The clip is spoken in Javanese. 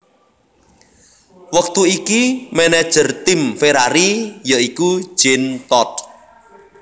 Wektu iki manajer tim Ferrari ya iku Jean Todt